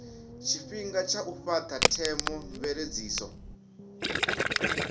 tshifhinga tsha u fhata theomveledziso